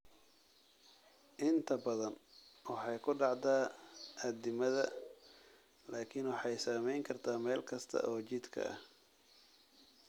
Inta badan waxay ku dhacdaa addimada, laakiin waxay saamayn kartaa meel kasta oo jidhka ah.